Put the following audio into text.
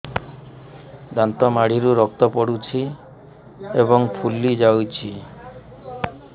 ଦାନ୍ତ ମାଢ଼ିରୁ ରକ୍ତ ପଡୁଛୁ ଏବଂ ଫୁଲି ଯାଇଛି